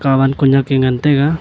katwan kunek a ngan taiga.